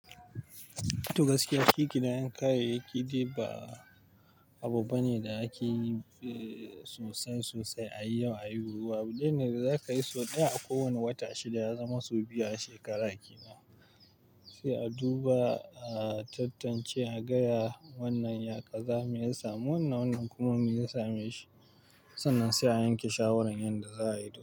To gaskiya, ki ki na yanka yake. Kide ba abu bane da ake yi sosai sosai a yi yau a yi gobe. Wani ne da za ka yi sau ɗaya a kowane wata shida ya zama sau biyu a shekara ki na. Sai a duba, a tantance, a gaya wannan ya kaza, me ya samu wannan, wannan kuma me ya same shi. Sannan sai a yanke shawarar yanda za a yi.